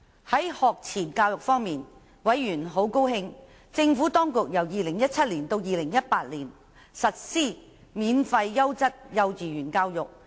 在學前教育方面，委員很高興政府當局由 2017-2018 學年起實施免費優質幼稚園教育。